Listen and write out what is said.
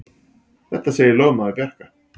Þetta segir lögmaður Bjarka.